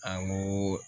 An ko